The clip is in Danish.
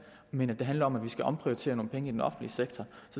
men at det handler om at vi skal omprioritere nogle penge i den offentlige sektor